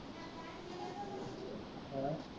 ਹੈਂ